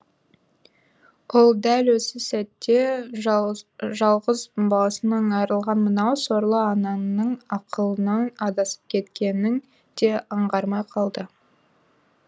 ол дәл осы сәтте жалғыз баласынан айрылған мынау сорлы анаңың ақылынан адасып кеткеннің де аңғармай қалды